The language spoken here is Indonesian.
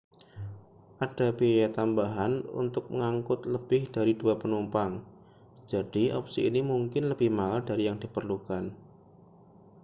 ada biaya tambahan untuk mengangkut lebih dari 2 penumpang jadi opsi ini mungkin lebih mahal dari yang diperlukan